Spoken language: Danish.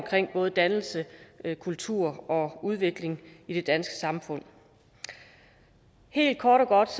både dannelse kultur og udvikling i det danske samfund helt kort og godt